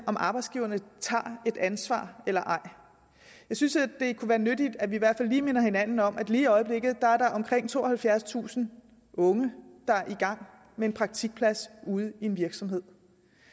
om arbejdsgiverne tager et ansvar eller ej jeg synes det kunne være nyttigt at vi i hvert fald lige minder hinanden om at der lige i øjeblikket er omkring tooghalvfjerdstusind unge der er i gang med en praktikplads ude i en virksomhed